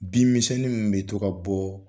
Bin misɛnnin min bɛ to ka bɔ.